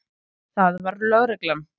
Það var lögreglan.